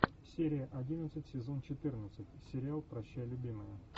серия одиннадцать сезон четырнадцать сериал прощай любимая